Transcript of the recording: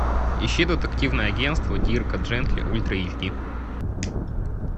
ищи детективное агентство дирка джентли ультра эйч ди